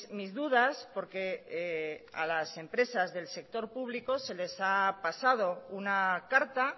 mis dudas porque a las empresas del sector público se les ha pasado una carta